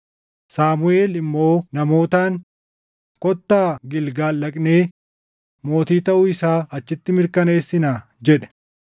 Saamuʼeel immoo namootaan, “Kottaa Gilgaal dhaqnee mootii taʼuu isaa achitti mirkaneessinaa” jedhe.